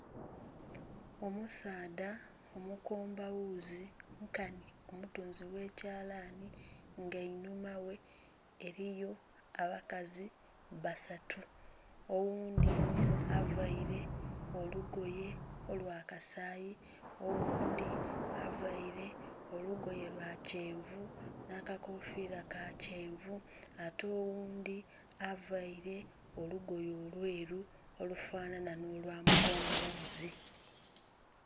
Omusaadha omukomba ghuzi nkanhi omutunzi ghe kyalani nga einhuma ghe eriyo abakazi basatu oghundhi avaire olugoye olwa kasayi, oghundhi avaire olugoye lwa kyenvu nha kakofira ka kyenvu ate oghundhi avaire olugoye olweru olufanana nho lwa mu komba ghuzi.